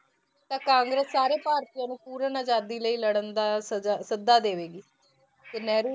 ਤਾਂ ਕਾਂਗਰਸ ਸਾਰੇ ਭਾਰਤੀਆਂ ਨੂੰ ਪੂਰਨ ਆਜ਼ਾਦੀ ਲਈ ਲੜਨ ਦਾ ਸਜਾ, ਸੱਦਾ ਦੇਵੇਗੀ ਤੇ ਨਹਿਰੂ,